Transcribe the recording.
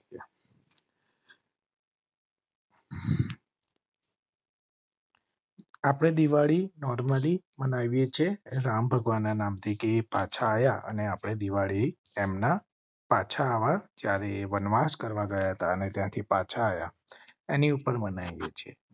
આપ ને દિવાળી normally બનાવી છે. રામ ભગવાન ના નામ થી પાછા આયા અને આપણે દિવાળી એમ ના પાછા જ્યારે વનવાસ કરવા ગયા હતા અને ત્યાંથી પાછા આયા એની ઉપર મનાઇ એ છીએ